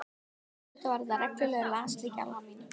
Auðvitað var þetta reglulegur lasleiki Alma mín.